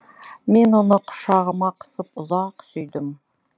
мен оны құшағыма қысып ұзақ сүйдім